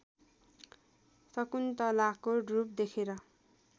शकुन्तलाको रूप देखेर